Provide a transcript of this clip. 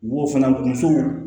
Wo fana muso